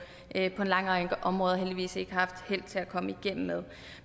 en lang række områder heldigvis ikke har haft held til at komme igennem med